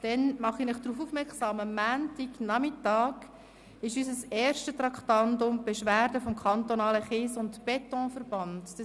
Dann mache ich Sie darauf aufmerksam, dass unser erstes Traktandum am Montagnachmittag die Beschwerde des Kantonalen Kies- und Betonverbands (KSE) ist.